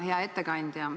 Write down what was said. Hea ettekandja!